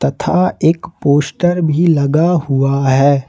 तथा एक पोस्टर भी लगा हुआ है।